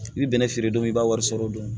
I bɛ bɛnɛ feere don min i b'a wari sɔrɔ dɔn